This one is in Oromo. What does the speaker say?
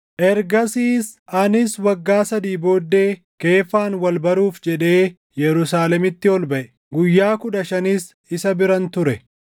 Ergasiis anis waggaa sadii booddee Keefaan wal baruuf jedhee Yerusaalemitti ol baʼe; guyyaa kudha shanis isa biran ture.